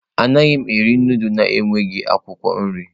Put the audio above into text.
Anaghị m eri nudulu na-enweghị akwụkwọ nri.